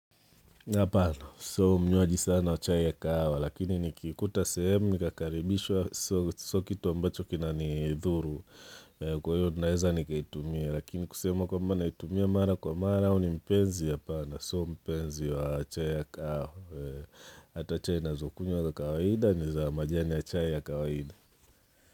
Hapana, sio mnywaji sana wa chai ya kahawa, lakini nikiikuta sehemu nikakaribishwa sio kitu ambacho kina nidhuru, kwa hiyo naweza nikaitumia lakini kusema kwamba naitumia mara kwa mara au ni mpenzi hapana sio mpenzi wa chai ya kahawa Hata chai ninazokunywa za kawaida ni za majani ya chai ya kawaida.